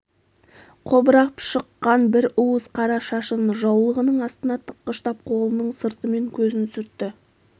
қобырап шыққан бір уыс қара шашын жаулығының астына тыққыштап қолының сыртымен көзін сүртті